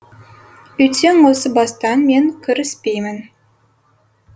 үйтсең осы бастан мен кіріспеймін